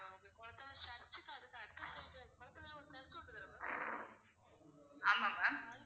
ஆமா ma'am